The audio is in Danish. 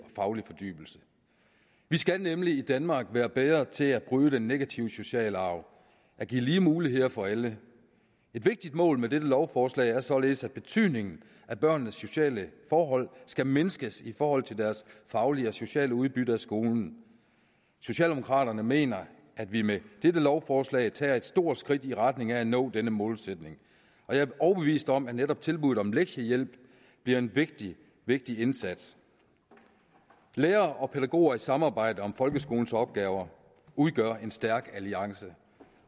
faglig fordybelse vi skal nemlig i danmark være bedre til at bryde den negative sociale arv at give lige muligheder for alle et vigtigt mål med dette lovforslag er således at betydningen af børnenes sociale forhold skal mindskes i forhold til deres faglige og sociale udbytte af skolen socialdemokraterne mener at vi med dette lovforslag tager et stort skridt i retning af at nå denne målsætning og jeg er overbevist om at netop tilbuddet om lektiehjælp bliver en vigtig vigtig indsats lærere og pædagoger i samarbejde om folkeskolens opgaver udgør en stærk alliance